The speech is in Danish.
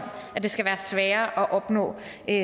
at det skal være sværere at opnå